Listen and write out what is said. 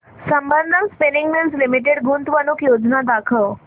Sambandam spinning mills limited गुंतवणूक योजना दाखव